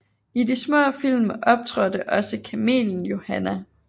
I de små film optrådte også kamelen Johanna